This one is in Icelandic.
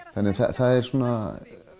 það er